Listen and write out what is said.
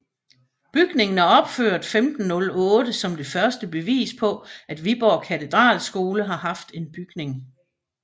Bygningen er opført år 1508 som det første bevis på at Viborg Katedralskole har haft en bygning